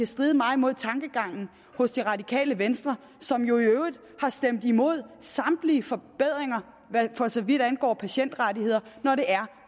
stride meget mod tankegangen hos det radikale venstre som jo i øvrigt har stemt imod samtlige forbedringer for så vidt angår patientrettigheder når